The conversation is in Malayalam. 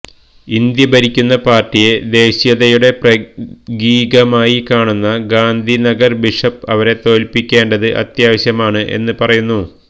ഇന്ത്യ ഭരിക്കുന്ന പാർട്ടിയെ ദേശീയതയുടെ പ്രകീകമായി കാണുന്ന ഗാന്ധിനഗർ ബിഷപ്പ് അവരെ തോൽപ്പിക്കേണ്ടത് അത്യാവശ്യമാണ് എന്ന് പറയുന്നു